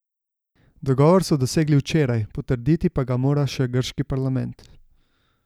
Dogovor so dosegli včeraj, potrditi pa ga mora še grški parlament.